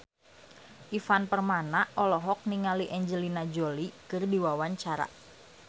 Ivan Permana olohok ningali Angelina Jolie keur diwawancara